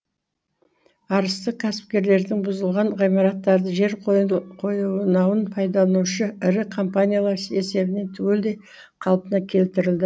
арыстық кәсіпкерлердің бұзылған ғимараттары жер қойнауын пайдаланушы ірі компаниялар есебінен түгелдей қалпына келтірілді